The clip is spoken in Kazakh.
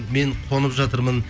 мен қонып жатырмын